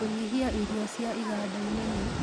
Kũnyĩhĩa irio cia ĩgandaĩnĩ nĩ